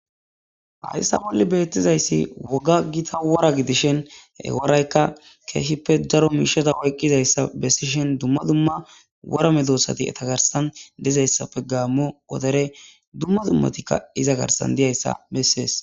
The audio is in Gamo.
Hayssa bolli beettizayssi woga gita wora gidishen eworaykka keehippe daro miishata hoyqqizayssa bessishen dumma dumma worame doossati eta garsan dizayssappe gaammo wodere dumma dummatikka iza garsan diyayssa bessees.